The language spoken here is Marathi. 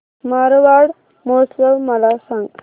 मारवाड महोत्सव मला सांग